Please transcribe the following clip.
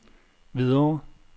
Hvidovre